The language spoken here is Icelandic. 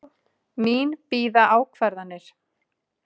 Mín bíða ákvarðanir.